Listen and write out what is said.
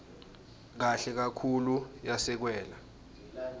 kahle kakhulu yasekelwa